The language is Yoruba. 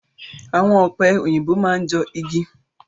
Awọn ọ̀pẹ òyìnbó máa n jọ igi.